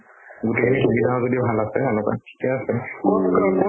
গোটেই খিনি সুবিধা যদি ভাল আছে হেনুকা, থিকে আছে